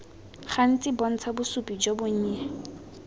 gantsi bontsha bosupi jo bonnye